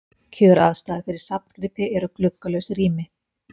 Kjöraðstæður fyrir safngripi eru gluggalaus rými.